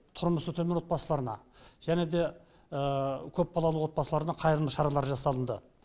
тұрмысы төмен отбасыларына және де көпбалалы отбасыларына қайырымдылық шаралары жасалынды